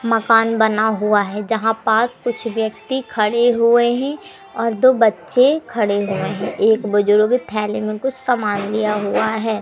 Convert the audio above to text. मकान बना हुआ है जहां पास कुछ व्यक्ति खड़े हुए हैं और दो बच्चे खड़े हुए हैं। एक बुजुर्ग थैली में कुछ समान लिया हुआ है।